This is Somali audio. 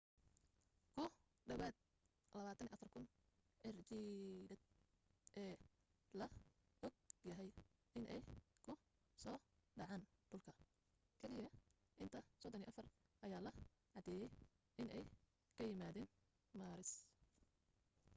ku dhawaad 24,000 cirjiidheed ee la og yahay inay ku soo dhaceen dhulka keliya ilaa 34 ayaa la caddeeyay inay ka yimaadeen maaris